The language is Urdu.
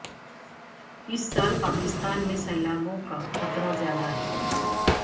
اس سال پاکستان میں سیلابوں کا خطرہ زیادہ ہے